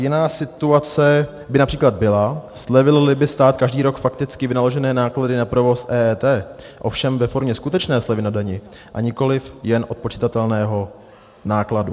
Jiná situace by například byla, slevil-li by stát každý rok fakticky vynaložené náklady na provoz EET, ovšem ve formě skutečné slevy na dani a nikoliv jen odpočitatelného nákladu.